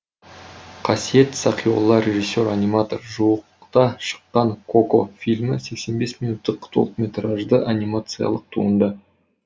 қасиет сақиолла режиссер аниматор жуықта шыққан коко фильмі сексен бес минуттық толықметражды анимациялық туынды